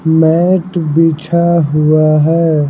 Mat बिछा हुआ है।